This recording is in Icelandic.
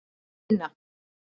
Tína